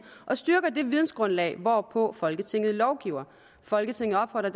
og styrker det vidensgrundlag hvorpå folketinget lovgiver folketinget opfordrer